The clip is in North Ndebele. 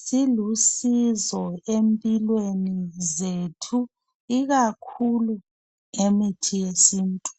Silusizo empilweni zethu, ikakhulu emithini yesintu.